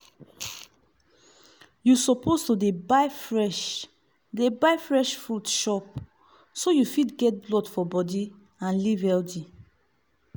you suppose dey buy fresh dey buy fresh furit chop so you fit get blood for body and live healthy.